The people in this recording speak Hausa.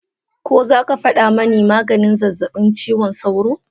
Ko zaka fada mani maganin zazzabin cizon sauro?